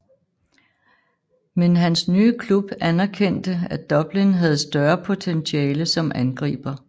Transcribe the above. Men hans nye klub anerkendte at Dublin havde større potentiale som angriber